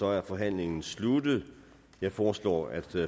er forhandlingen sluttet jeg foreslår at